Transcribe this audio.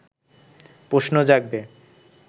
প্রশ্ন জাগবে